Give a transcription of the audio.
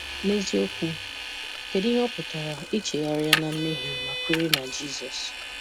N'eziokwu, kedụ ihe ọ pụtara, ị chegharịa na mmehie ma kwere na Jizọs.